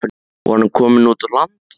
Var hún komin út á land?